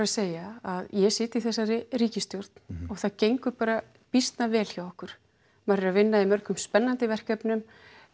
segja að ég sit í þessari ríkisstjórn og það gengur bara býsna vel hjá okkur maður er að vinna í mörgum spennandi verkefnum